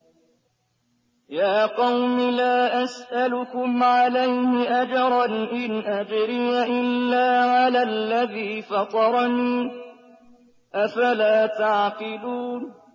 يَا قَوْمِ لَا أَسْأَلُكُمْ عَلَيْهِ أَجْرًا ۖ إِنْ أَجْرِيَ إِلَّا عَلَى الَّذِي فَطَرَنِي ۚ أَفَلَا تَعْقِلُونَ